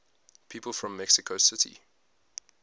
people from mexico city